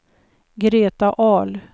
Greta Ahl